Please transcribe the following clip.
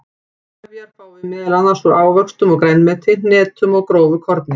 Trefjar fáum við meðal annars úr ávöxtum og grænmeti, hnetum og grófu korni.